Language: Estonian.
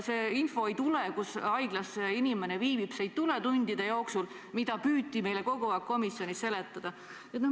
See info, kus haiglas inimene viibib, ei tule tundide jooksul, mida püüti meile kogu aeg komisjonis seletada.